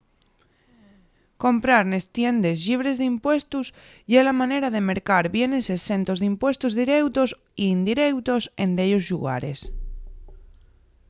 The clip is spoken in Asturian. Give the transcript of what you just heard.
comprar nes tiendes llibres d’impuestos ye la manera de mercar bienes exentos d’impuestos direutos y indireutos en dellos llugares